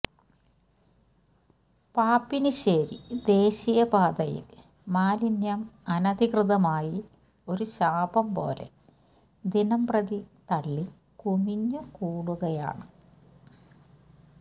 പാപ്പിനിശേരി ദേശീയ പാതയില് മലിന്യം അനധികൃതമായി ഒരുശാപം പോലെ ദിനംപ്രതി തള്ളി കുമിഞ്ഞ് കൂടുകയാണ്